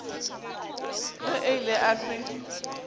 ge a ile a se